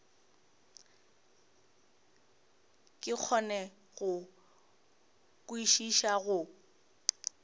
ke kgone go kwešiša go